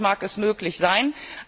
Bei Rindfleisch mag es möglich sein.